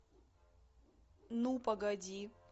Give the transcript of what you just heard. ну погоди